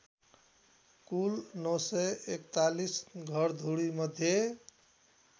कुल ९४१ घरधुरीमध्ये